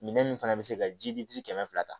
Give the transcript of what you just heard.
Minɛn min fana bɛ se ka ji di kɛmɛ fila ta